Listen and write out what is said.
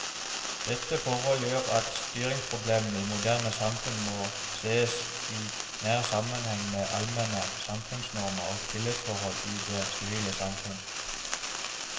Dette forhold gjør at styringsproblemene i moderne samfunn må sees i nær sammenheng med allmenne samfunnsnormer og tillitsforhold i det sivile samfunn.